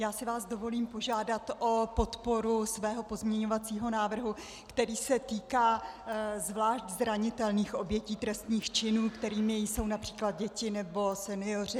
Já si vás dovolím požádat o podporu svého pozměňovacího návrhu, který se týká zvlášť zranitelných obětí trestných činů, kterými jsou například děti nebo senioři.